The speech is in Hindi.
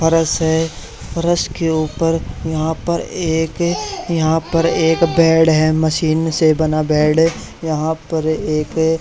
फर्श है फर्श के ऊपर यहां पर एक यहां पर एक बेड है मशीन से बना बेड यहां पर एक --